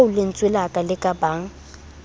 oo lentswe le ka bang